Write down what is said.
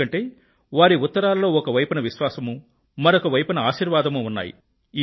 ఎందుకంటే వారి ఉత్తరాల్లో ఒకవైపున విశ్వాసమూ మరో వైపున ఆశీర్వాదమూ ఉన్నాయి